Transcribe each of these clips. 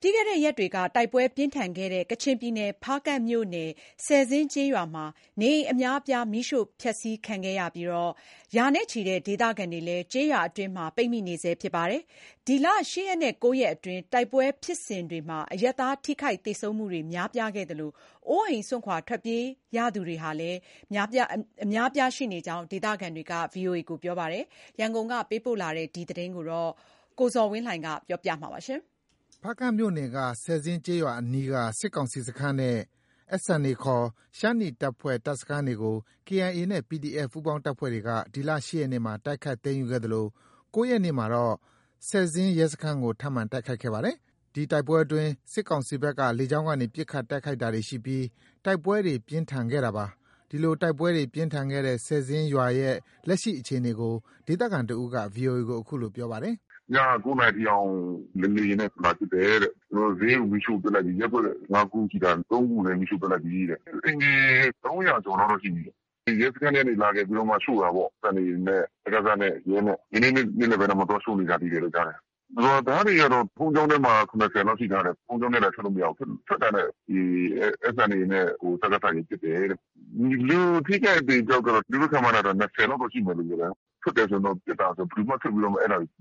ပြီးခဲ့တဲ့ရက်တွေက တိုက်ပွဲပြင်းထန်ခဲ့တဲ့ ကချင်ပြည်နယ် ဖားကန့်မြို့နယ် ဆယ်ဇင်းကျေးရွာမှာ နေအိမ်အများအပြား မီးရှိုဖျက်ဆီးခံနေရပြီး ရာနဲ့ချီတဲ့ ဒေသခံတွေလည်း ကျေးရွာအတွင်းမှာ ပိတ်မိနေဆဲ ဖြစ်ပါတယ်။ ဒီလ ၈ ရက်နဲ့ ၉ ရက်အတွင်း တိုက်ပွဲဖြစ်စဉ်တွေမှာ အရပ်သားထိခိုက်သေဆုံးမှုတွေ များပြားခဲ့သလို အိုးအိမ်စွန့်ခွာ ထွက်ပြေးရသူတွေလည်း ရှိနေကြောင်း ဒေသခံတွေက ပြောပါတယ်။ ရန်ကုန်ကလာတဲ့ ဆယ်ဇင်းရွာတိုက်ပွဲတွေရဲ့ နောက်ဆုံးအခြေအနေကို ကိုဇော်ဝင်းလှိုင်က တင်ပြပေးထားပါတယ်။ ဖားကန့်မြို့နယ်က ဆယ်ဇင်းကျေးရွာအနီးက စစ်ကောင်စီတပ်စခန်းနဲ့ SNA ခေါ် ရှမ်းနီတပ်ဖွဲ့ တပ်စခန်းတွေကို KIA နဲ့ PDF ပူးပေါင်းတပ်ဖွဲ့တွေက ဒီလ ၈ ရက်နေ့မှာ တိုက်ခိုက်သိမ်းယူခဲ့သလို ၉ ရက်နေ့မှာတော့ ဆယ်ဇင်း ရဲစခန်းကို ထပ်မံတိုက်ခိုက်ခဲ့ပါတယ်။ ဒီတိုက်ပွဲအတွင်း စစ်ကောင်စီဘက်က လေကြောင်းက တိုက်ခိုက်တာတွေရှိပြီး တိုက်ပွဲတွေ ပြင်းထန်ခဲ့တာပါ။ ဒီလို တိုက်ပွဲတွေ ပြင်းထန်ခဲ့တဲ့ ဆယ်ဇင်းရွာရဲ့ လက်ရှိ အခြေအနေကို ဒေသခံတဦးက VOA ကို အခုလို ပြောပါတယ်။ “ ညက ၉ နာရီအထိအောင် လေယာဉ်နဲ့ လာပစ်တယ်တဲ့။ နောက် ဈေးကို မီးရှို့ပစ်လိုက်ပြီ။ ရပ်ကွက် ၅ ခုရှိတာ ၃ ခုလည်း မီးရှို့ပစ်လိုက်ပြီတဲ့။ အိမ်ခြေ ၃၀၀ ကျော်လောက်တော့ရှိပြီတဲ့။ ရဲစခန်းထဲကနေ လာခဲ့ပြီးမှ ရှို့တာပေါ့။ SNA နဲ့ စကစနဲ့ ရဲနဲ့။ ဒီနေ့ နေ့လယ်ပိုင်းတောင်မှ သွားရှို့နေကြတယ်လို့ ကြားတယ်။ ရွာသားတွေကတော့ ဘုန်းကြီးကျောင်းထဲမှာ ၇၀ လောက်ရှိထားတယ်။ ဘုန်းကြီးကျောင်းထဲကလည်း ထွက်လို့ မရဘူး။ ထွက်တာနဲ့ ဒီ SNA နဲ့ စကစတွေက ပစ်တယ်တဲ့။ လူအထိအခိုက်အသေအပျောက်ကတော့ သူတို့ ခန့်မှန်းတာတော့ ၂၀ လောက်ရှိမယ်လို့ ပြောတယ်။ ထွက်တယ်ဆိုရင် ပစ်တာဆိုတော့ ဘယ်သူမှ ထွက်ပြီး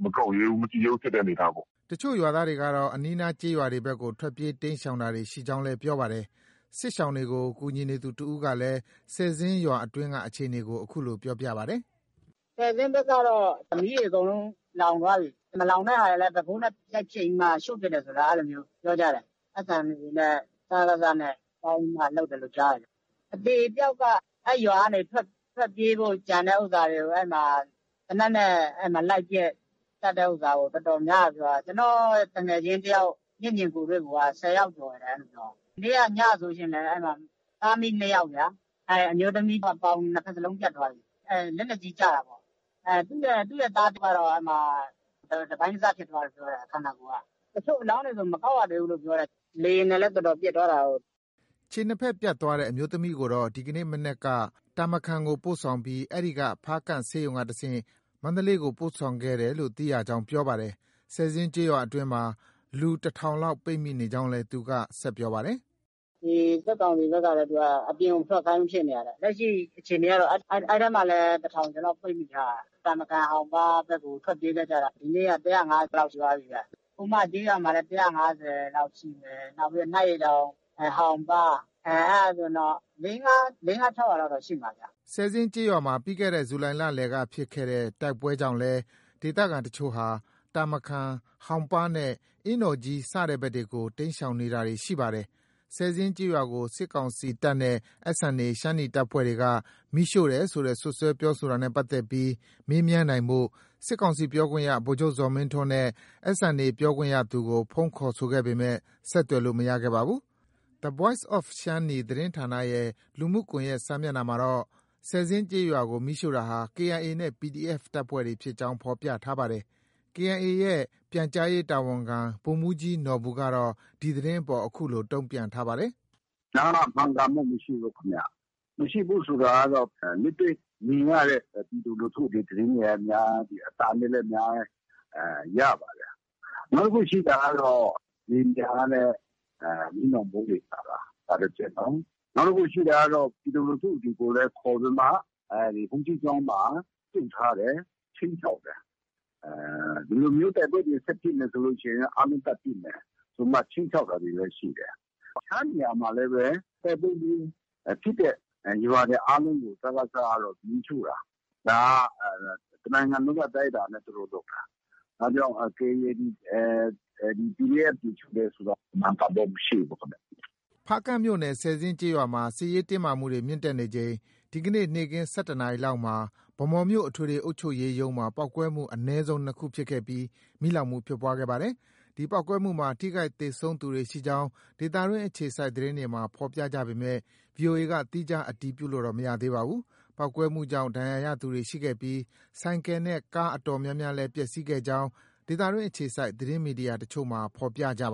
မကောက်ရဲဘူး။ မကြည့်ရဲဘူးဖြစ်တဲ့အနေအထားပေါ့။” တချို့ရွာသားတွေကတော့ အနီးအနား ကျေးရွာတွေဘက်ကို ထွက်ပြေးတိမ်းရှောင်တာတွေ ရှိကြောင်းလည်း ပြောပါတယ်။ စစ်ရှောင်တွေကို ကူညီနေသူတဦးကလည်း ဆယ်ဇင်းရွာအတွင်းက အခြေအနေကို အခုလို ပြောပါတယ်။ “ဆယ်ဇင်းဘက်ကတော့ မီးတွေ အကုန်လုံး လောင်သွားပြီ။ မလောင်တဲ့ဟာတွေလည်း ဘက်ဖိုးနဲ့ ရိုက်ဖျက်ပြီးမှ ရှို့ပစ်တယ်ဆိုလား အဲလိုမျိုး ပြောကြတယ်။ SNA နဲ့ စကစနဲ့ ပေါင်းပြီမှ လုပ်တယ်လို့ ကြားတယ်။ အသေပျောက်က အဲဒီရွာကနေ ထွက်ပြေးဖို့ ကြံတဲ့ ဥစ္စာတွေကို သေနတ်နဲ့ လိုက်ပစ်သတ်တဲ့ ဥစ္စာကို တော်တော်များတယ်ပြောတယ်။ ကျနော့သူငယ်ချင်းတယောက် မျက်မြင်ကိုယ်တွေ့ကိုက ၁၀ ယောက်ကျော်တယ်။ မနေ့က ညဆိုရင်လည်း သားအမိနှစ်ယောက်ဗျာ။ အမျိုးသမီးက ပေါင် ၂ ဖက်လုံးပြတ်သွားပြီ။ လက်နက်ကြီးကျတာပေ့ါ။ သူ့ရဲ့သားကတော့ အဲဒီမှာ တပိုင်းတစဖြစ်သွားတယ်ပြောတယ် ခန္ဓာကိုယ်က။ တချို့အလောင်းတွေဆို မကောက်ရသေးဘူးပြောတယ်။ လေယာဉ်နဲ့လည်း တော်တော်ပစ်သွားတာကိုး။” ခြေနှစ်ဖက် ပြတ်သွားတဲ့ အမျိုးသမီးကိုတော့ ဒီကနေ့မနက်က တာမခန်ကို ပို့ဆောင်ပြီး အဲဒီက ဖားကန့်ဆေးရုံကတဆင့် မန္တလေးကို ပို့ဆောင်ခဲ့တယ်လို့ သိရကြောင်း ပြောပါတယ်။ ဆည်ဇင်းကျေးရွာအတွင်းမှာ လူ တထောင်လောက် ပိတ်မိနေကြောင်းလည်း သူက ဆက်ပြောပါတယ်။ “စစ်ကောင်စီဘက်ကလည်း အပြင်ကို မထွက်ခိုင်းဘူးဖြစ်နေတာတဲ့။ အခြေအနေကတော့ အဲဒီထဲမှာ တထောင်ကျော်လောက် ပိတ်မိထားတာ။ တာမခန်၊ ဟောင်ပါးဘက်ကို ထွက်ပြေးတာ ဒီနေ့က ၁၅၀ လောက် ရှိသွားပြီဗျ။ ဟိုမကျေးရွာမှာလည်း ၁၅၀ လောက်ရှိတယ်။ နောက်ပြီးတော့ နတ်ရေတောင်။ ဟောင်ပါး။ အဲဒါ ဆိုရင်တော့ ၄- ၅ -၆ ရာလောက်တော့ ရှိမှာဗျ။ ” ဆယ်ဇင်းကျေးရွာမှာ ပြီးခဲ့တဲ့ ဇူလိုင်လလယ်ကဖြစ်တဲ့ တိုက်ပွဲကြောင့်လည်း ဒေသခံအချို့ဟာ တာမခန်၊ ဟောင်ပါးနဲ့ အင်းတော်ကြီး စတဲ့ဘက်တွေကို တိမ်းရှောင်နေတာတွေ ရှိပါတယ်။ ဆယ်ဇင်းကျေးရွာကို စစ်ကောင်စီတပ်နဲ့ SNA ရှမ်းနီတပ်ဖွဲ့က မီးရှို့တယ်ဆိုတဲ့ စွပ်စွဲပြောဆိုတာနဲ့ပတ်သက်ပြီး မေးမြန်းနိုင်ဖို့ စစ်ကောင်စီပြောခွင့်ရ ဗိုလ်ချုပ်ဇော်မင်းထွန်းနဲ့ SNA ပြောခွင့်ရသူကို ဖုန်းခေါ်ဆိုခဲ့ပေမယ့် ဆက်သွယ်လို့ မရခဲ့ပါဘူး။ The Voice of Shan-Ni သတင်းဌာနရဲ့ လူမှုကွန်ရက်စာမျက်နှာမှာတော့ ဆယ်ဇင်းကျေးရွာကို မီးရှိုတာဟာ KIA နဲ့ PDF တပ်ဖွဲ့တွေဖြစ်ကြောင်း ဖော်ပြထားပါတယ်။ KIA ရဲ့ ပြန်ကြားရေးတာဝန်ခံ ဗိုလ်မှူးကြီးနော်ဘူကတော့ ဒီသတင်းအပေါ် အခုလို တုံ့ပြန်ထားပါတယ်။ “ ဒါကတော့ မှန်ကန်မှုမရှိဘူးခင်ဗျ။ မရှိဘူးဆိုတာကတော့ လက်တွေ့မြင်ရတဲ့ ပြည်သူလူထုတွေ သတင်းတွေလည်းအများကြီး။ အသံတွေလည်း အများကြီး ရပါတယ်။ နောက်တခုရှိတာကတော့ လေယာဉ်ပျံကလည်း မီးလောင်ဗုံးတွေ ချတာ။ ဒါတချက်။ နောက်တခုရှိတာက ပြည်သူလူထုလည်း ခေါ်ပြီးမှ ဘုန်းကြီးကျောင်းမှာ ပိတ်ထားတယ်။ ခြိမ်းခြောက်တယ်။ ဒီလိုမျိုးတိုက်ပွဲတွေ ဆက်ဖြစ်မယ်ဆို အားလုံးသတ်ပစ်မယ်ဆိုပြီးမှ ခြိမ်းခြောက်တာတွေလည်း ရှိတယ်။ တခြားနေရာမှာလည်းပဲ တိုက်ပွဲဖြစ်တဲ့ ရွာတွေအားလုံးကို စကစက မီးရှို့တာ။ ဒါက တနိုင်ငံလုံး အတိုင်းအတာနဲ့ သူတို့ လုပ်တာ။ ဒါကြောင့် KIA တွေ ၊ PDF တွေ ရှို့တာကတော့ မှန်ကန်မှု မရှိဘူးဗျ။” ဖားကန့်မြို့နယ် ဆယ်ဇင်းကျေးရွာမှာ စစ်ရေးတင်းမာမှုတွေ မြင့်တက်နေချိန် ဒီနေ့ နေ့ခင်း ၁၁ နာရီလောက်မှာ ဗန်းမော်မြို့ အထွေထွေအုပ်ချုပ်ရေးရုံးမှာ ပေါက်ကွဲမှု အနည်းဆုံး ၂ ခုဖြစ်ခဲ့ပြီး မီးလောင်ခဲ့ပါတယ်။ ဒီပေါက်ကွဲမှုမှာ ထိခိုက် သေဆုံးသူတွေရှိကြောင်း ဒေသတွင်းအခြေစိုက်သတင်းတွေမှာ ဖော်ပြကြပေမယ့် ဗွီအိုအေက သီးခြား အတည်ပြုလို့တော့ မရသေးပါဘူး။ ပေါက်ကွဲမှုကြောင့် ဒဏ်ရာရသူတွေ ရှိခဲ့ပြီး ဆိုင်ကယ် နဲ့ကားအတော်များများလည်း ပျက်ဆီးခဲ့ကြောင်း ဒေသတွင်းအခြေစိုက် သတင်းမီဒီယာအချို့မှာ ဖော်ပြထားပါ